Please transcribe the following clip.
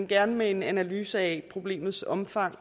gerne en analyse af problemets omfang